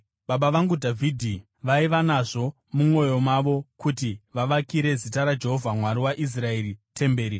“Baba vangu Dhavhidhi vaiva nazvo mumwoyo mavo kuti vavakire Zita raJehovha Mwari waIsraeri temberi.